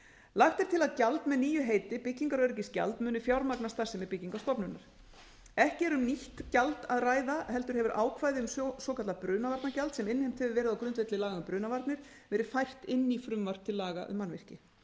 lagt er til að gjald með nýju heiti byggingar og öryggisgjald muni fjármagna starfsemi byggingarstofnunar ekki er um nýtt gjald að ræða heldur hefur ákvæði um svokallað brunavarnagjald sem innheimt hefur verið á grundvelli laga um brunavarnir verið fært enn frumvarp til laga um mannvirki